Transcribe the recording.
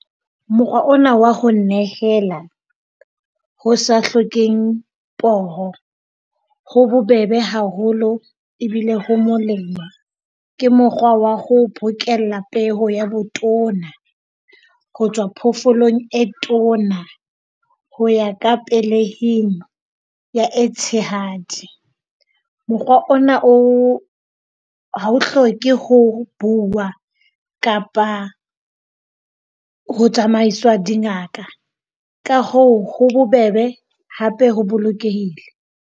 Mokgwa ona wa ho nehela ho sa hlokehe poho, ho bobebe haholo ebile ho molemo ke mokgwa wa ho bokella peo ya botona ho tswa phoofolong e tona ho ya ka pelehing ya e tshehadi. Mokgwa ona o ha o hloke ho buuwa kapa ho tsamaiswa dingaka ka hoo ho bobebe, hape ho bolokehile.